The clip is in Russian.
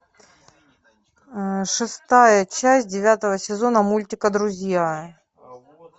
шестая часть девятого сезона мультика друзья